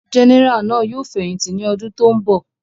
Gẹ́nẹrà náà yóò fẹ̀yìntì ní ọdún tó ń bọ̀.